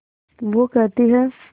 वो कहती हैं